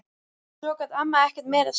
Svo gat amma ekkert meira sagt.